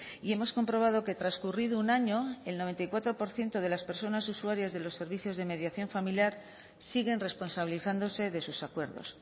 y hemos comprobado que transcurrido un año el noventa y cuatro por ciento de las personas usuarias de los servicios de mediación familiar siguen responsabilizándose de sus acuerdos